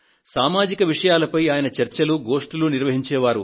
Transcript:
సామాజిక విషయాలపై ఆయన చర్చలను గోష్టులను నిర్వహించే వారు